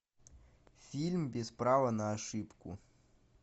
фильм без права на ошибку